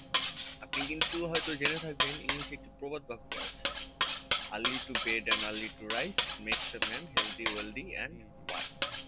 আপনি কিন্তু হয়তো জেনে থাকবেন english এ একটি প্রবাদ বাক্য আছে early to bed and early to rise makes a man healthy wealthy and wise